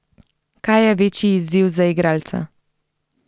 Kaj je večji izziv za igralca?